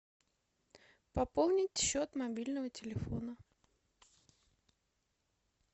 пополнить счет мобильного телефона